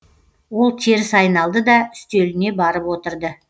ол теріс айналды да үстеліне барып отырды